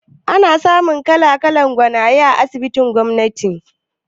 Ana samun kala-kalan gwanaye a asibitin gwamnati